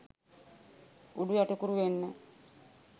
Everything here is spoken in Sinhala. උඩු යටිකුරු වෙන්න